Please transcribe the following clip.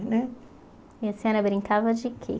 Né E a senhora brincava de quê?